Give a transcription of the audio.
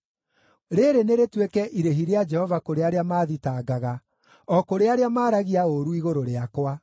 Rĩrĩ nĩrĩtuĩke irĩhi rĩa Jehova kũrĩ arĩa maathitangaga, o kũrĩ arĩa maaragia ũũru igũrũ rĩakwa.